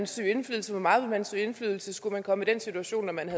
søge indflydelse hvor meget man vil søge indflydelse skulle man komme i den situation at man